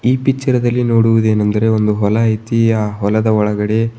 ಈ ಪಿಚ್ಚರದಲ್ಲಿ ನೋಡುವುದೇನೆಂದರೆ ಒಂದು ಹೊಲ ಐತಿ ಆ ಹೊಲದ ಒಳಗಡೆ --